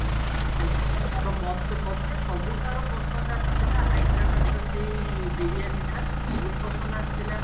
ସେମିତି ତ ମତେ ମତେ ସବୁଠାରୁ ପସନ୍ଦ ଆସିଥିଲା ହାଇଦ୍ରାବାଦ ର ସେଇ ବିରିୟାନୀ ଟା ବହୁତ ପସନ୍ଦ ଆସିଥିଲା